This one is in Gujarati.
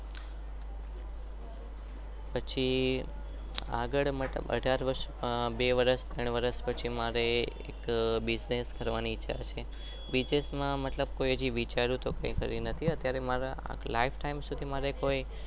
પછી આગળ અધર વરસસ બે વરસ ત્રણ વરસ પછી